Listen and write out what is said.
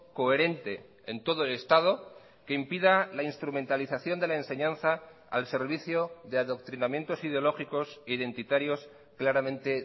coherente en todo el estado que impida la instrumentalización de la enseñanza al servicio de adoctrinamientos ideológicos identitarios claramente